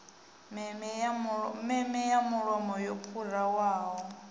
meme ya mulomo yo pharuwaho